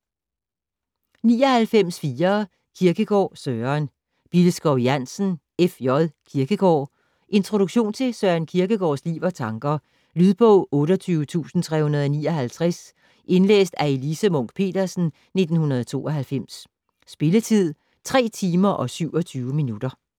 99.4 Kierkegaard, Søren Billeskov Jansen, F. J.: Kierkegård Introduktion til Søren Kierkegaards liv og tanker. Lydbog 28359 Indlæst af Elise Munch-Petersen, 1992. Spilletid: 3 timer, 27 minutter.